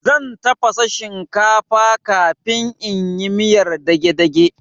Zan tafasa shinkafa kafin in yi miyar dagedage